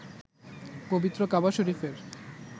পবিত্র কাবা শরিফের